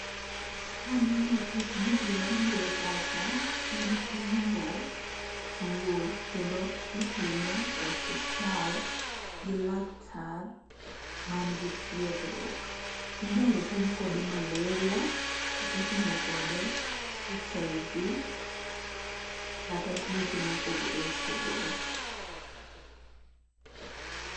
Kanono tijni gimabiro e pacha en pimo tuwo kendo itime e osuptal gi laktar man gi tiegruok. Inyalo pim kode maleria kata ipimo kode HIV kata tuoche mopogre opogre.